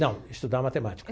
Não, estudar matemática.